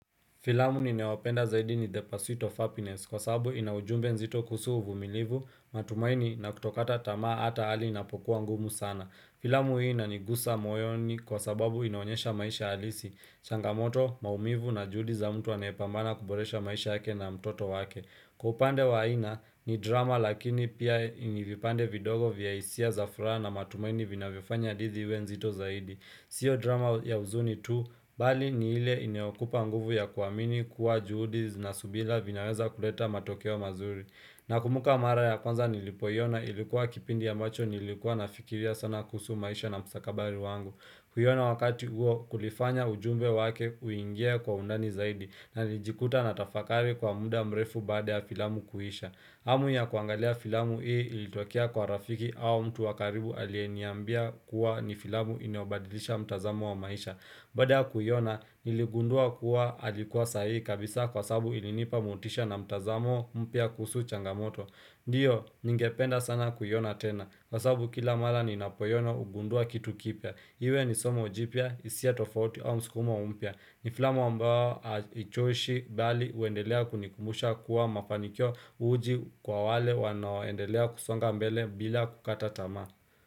Filamu ninayopenda zaidi ni the pursuit of happiness kwasabu inaujumbe mzito kusuhu uvumilivu, matumaini na kutokata tamaa hata hali inapokuwa ngumu sana. Filamu hii inanigusa moyoni kwa sababu inaonyesha maisha halisi. Changamoto, maumivu na juhudi za mtu anayepambana kuboresha maisha yake na mtoto wake. Kwa upande wa ina ni drama lakini pia ina vipande vidogo vya hisia za furaha na matumaini vinavyofanya hadithi iwe nzito zaidi. Sio drama ya uzuni tu, bali ni ile inyokupa nguvu ya kuamini kuwa juhudi na subira vinaweza kuleta matokeo mazuri. Nakumbuka mara ya kwanza nilipoiona ilikuwa kipindi ya ambacho nilikuwa nafikiria sana kusu maisha na mstakabari wangu. Kuiona wakati huo kulifanya ujumbe wake kuingia kwa undani zaidi na lijikuta natafakari kwa muda mrefu baada ya filamu kuisha. Hamu ya kuangalia filamu hii ilitokea kwa rafiki au mtu wa karibu aliyeniambia kuwa ni filamu inayo badilisha mtazamo wa maisha. Baada ya kuiona, niligundua kuwa alikuwa sahihi kabisa kwasababu ilinipa motisha na mtazamo mpya kuhusu changamoto. Ndiyo, ningependa sana kuiona tena. Kwasabu kila mara ninapoiona hugundua kitu kipya. Iwe ni somo jipya, hisia tofauti au msukumo mpya ni filamu ambayo hainichoshi, bali huendelea kunikumbusha kuwa mafanikio uji kwa wale wanaoendelea kusonga mbele bila kukata tamaa.